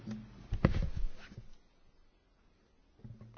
Herr Präsident, liebe Kolleginnen und Kollegen!